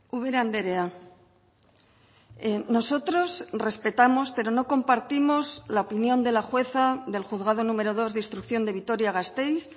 ubera andrea nosotros respetamos pero no compartimos la opinión de la jueza del juzgado número dos de instrucción de vitoria gasteiz